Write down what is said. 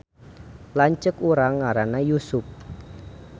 Lanceuk urang ngaranna Yusup